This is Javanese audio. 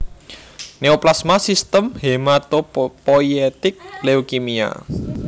Neoplasma Sistem Hematopoietik Leukemia